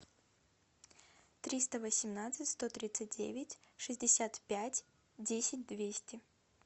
триста восемнадцать сто тридцать девять шестьдесят пять десять двести